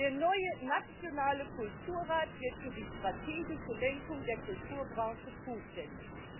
Der neue nationale Kulturrat wird für die strategische Lenkung der Kulturbranche zuständig.